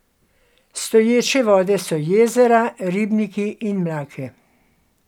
Stoječe vode so jezera, ribniki in mlake.